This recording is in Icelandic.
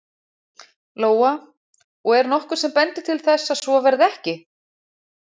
Lóa: Og er nokkuð sem bendir til þess að svo verði ekki?